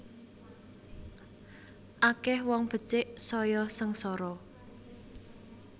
Akeh wong becik saya sengsara